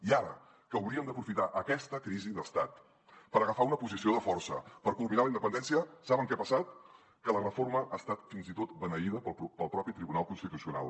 i ara que hauríem d’aprofitar aquesta crisi d’estat per agafar una posició de força per culminar la independència saben què ha passat que la reforma ha estat fins i tot beneïda pel propi tribunal constitucional